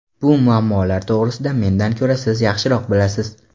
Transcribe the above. Bu muammolar to‘g‘risida mendan ko‘ra siz yaxshiroq bilasiz.